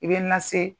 I bɛ na se